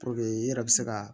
i yɛrɛ bɛ se ka